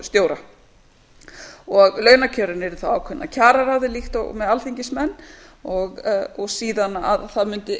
einmitt ráðningartímabil þjóðhagsstofustjóra launakjörin yrðu þá ákveðin af kjararáði líkt og með alþingismenn og síðan að það mundi